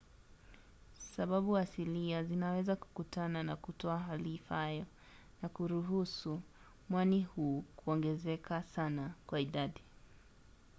sababu asilia zinaweza kukutana na kutoa hali ifaayo na kuruhusu mwani huu kuongezeka sana kwa idadi